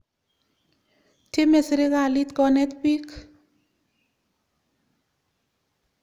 Tyeme sirikalit konet piik.